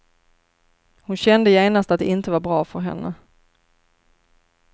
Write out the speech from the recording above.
Hon kände genast att det inte var bra för henne.